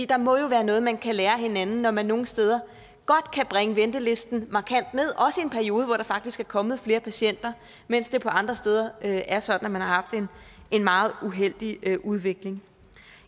der må jo være noget man kan lære af hinanden når man nogle steder godt kan bringe ventelisten markant ned også i en periode hvor der faktisk er kommet flere patienter mens det andre steder er sådan at man har haft en meget uheldig udvikling